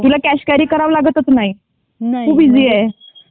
तुला cash carry करावं लागतच नाही खूप इसि आहे .